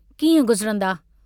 कीअं गुज़रन्दा?